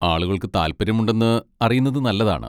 ആളുകൾക്ക് താൽപ്പര്യമുണ്ടെന്ന് അറിയുന്നത് നല്ലതാണ്.